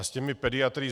A s těmi pediatry.